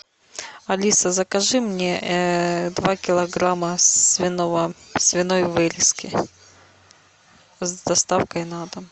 алиса закажи мне два килограмма свиной вырезки с доставкой на дом